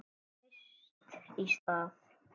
Bara fyrst í stað.